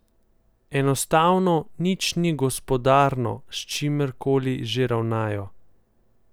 Enostavno, nič ni gospodarno, s čimerkoli že ravnajo.